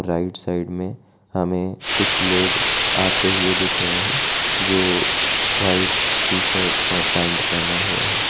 Right side में हमें कुछ लोग आते हुए दिख रहे हैं जो व्हाइट टी शर्ट और पैंट पहने हुए हैं।